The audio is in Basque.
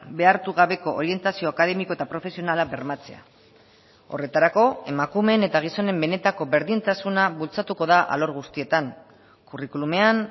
behartu gabeko orientazio akademiko eta profesionala bermatzea horretarako emakumeen eta gizonen benetako berdintasuna bultzatuko da alor guztietan curriculumean